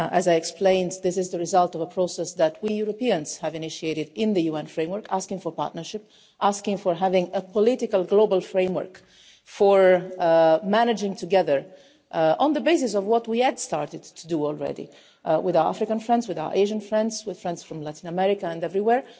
As I explained, this is the result of a process that we Europeans have initiated in the UN Framework, asking for partnership and asking to have a political global framework for managing together, on the basis of what we had already started to do with our African friends, with our Asian friends, and with friends from Latin America and everywhere.